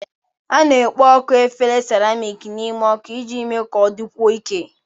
A na-ekpo ọkụ efere seramiiki n'ime ọkụ iji mee ka ọ dịkwuo ike.